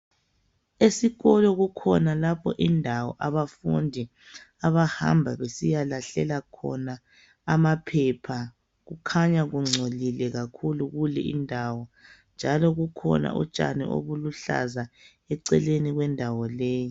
Esikolo kukhona lapho indawo abafundi abahamba besiyalahlela khona amaphepha. Kukhanya kungcolile kakhulu kule indawo ,njalo kukhona utshani obuluhlaza eceleni kwendawo leyi.